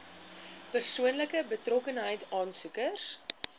persoonlike betrokkenheid aansoekers